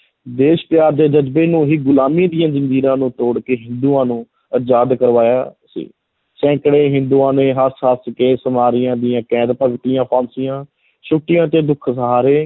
ਦੇਸ਼ ਪਿਆਰ ਦੇ ਜ਼ਜਬੇ ਨੂੰ ਹੀ ਗੁਲਾਮੀ ਦੀਆਂ ਜ਼ੰਜੀਰਾਂ ਨੂੰ ਤੋੜ ਕੇ ਹਿੰਦੂਆਂ ਨੂੰ ਆਜ਼ਾਦ ਕਰਵਾਇਆ ਸੀ, ਸੈਕੜੇ ਹਿੰਦੂਆਂ ਨੇ ਹੱਸ-ਹੱਸ ਕੇ ਦੀਆਂ ਕੈਦ ਭਗਤੀਆਂ, ਫਾਂਸੀਆਂ, ਛੁੱਟੀਆਂ ਅਤੇ ਦੁੱਖ ਸਹਾਰੇ।